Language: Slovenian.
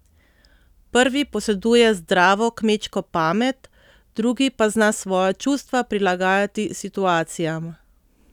Prvi poseduje zdravo kmečko pamet, drugi pa zna svoja čustva prilagajati situacijam.